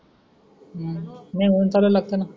हम्म नाही ऊन चालू लागत ना